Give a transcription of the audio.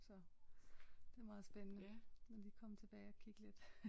Så det er meget spændende lige at komme tilbage at kigge lidt